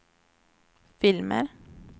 filmer